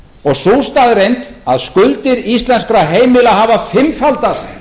og sú staðreynd að skuldir íslenskra heimila hafa fimmfaldast